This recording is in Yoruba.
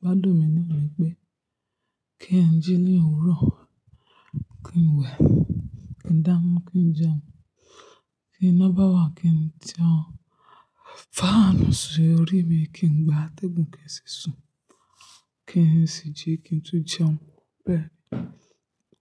Gbádùn mi ni mi pé kí n jí ní òwúrọ̀, kí n wẹ̀, kí n dáná, kí n jẹun, ti iná bá wà kí n tì ọ́, fáànù sí orí mi kí n gba atẹ́gùn kí n sì sùn, kí n sì jí kí n tún jẹun bẹ́ẹ̀